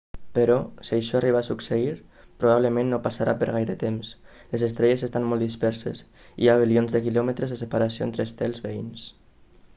però si això arriba a succeir probablement no passarà per gaire temps les estrelles estan molt disperses hi ha bilions de quilòmetres de separació entre estels veïns